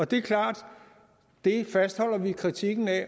det er klart at det fastholder vi kritikken af